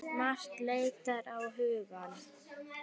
Margt leitar á hugann.